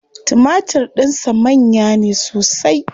Timatir din sa manya ne sosai.